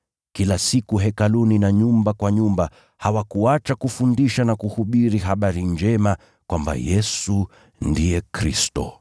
Kila siku, Hekaluni na nyumba kwa nyumba, hawakuacha kufundisha na kuhubiri habari njema kwamba Yesu ndiye Kristo.